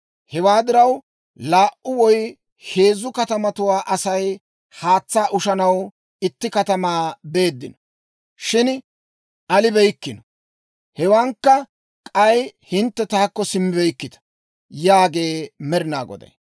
Hewaa diraw, laa"u woy heezzu katamatuwaa Asay haatsaa ushanaw itti katamaa beeddino; shin alibeykkino. Hewankka k'ay hintte taakko simmibeykkita» yaagee Med'inaa Goday.